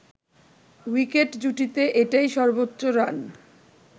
wicket জুটিতে এটাই সর্বোচ্চ রান